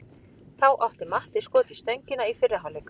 Þá átti Matti skot í stöngina í fyrri hálfleik.